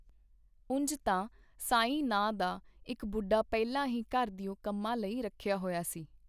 ਉਂਜ ਤਾਂ ਸਾਈਂ ਨਾਂ ਦਾ ਇੱਕ ਬੁੱਢਾ ਪਹਿਲਾਂ ਹੀ ਘਰ ਦਿਓ ਕੰਮਾਂ ਲਈ ਰੱਖਿਆ ਹੋਇਆ ਸੀ.